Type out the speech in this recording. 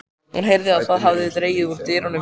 Hún heyrði að það hafði dregið úr dyninum.